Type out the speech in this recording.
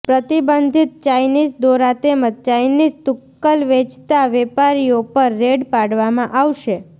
પ્રતિબંધિત ચાઇનીઝ દોરા તેમજ ચાઇનીઝ તુકકલ વેચતા વેપારીઓ પર રેડ પાડવામાં આવશે